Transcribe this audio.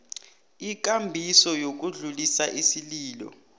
ikambiso yokudlulisa isililo